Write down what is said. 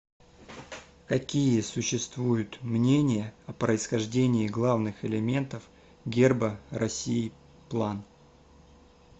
какие существуют мнения о происхождении главных элементов герба россии план